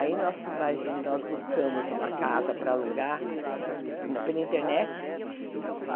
Aí nós, imagine, nós buscamos uma casa para alugar pela internet.